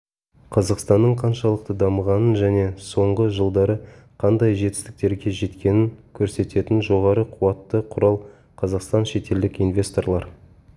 қазақстанның қаншалықты дамығанын жне соңғы жылдары қандай жетістіктерге жеткенін көрсететін жоғары қуатты құрал қазақстан шетелдік инвесторлар